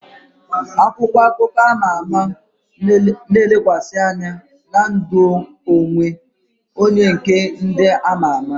Akwụkwọ akụkọ ama ama na-elekwasị anya na ndụ onwe onye nke ndị ama ama